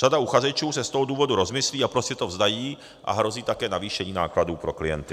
Řada uchazečů se z toho důvodu rozmyslí a prostě to vzdají a hrozí také navýšení nákladů pro klienty.